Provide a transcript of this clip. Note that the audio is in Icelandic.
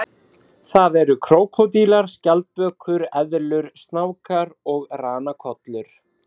Það eru krókódílar, skjaldbökur, eðlur, snákar og ranakollur.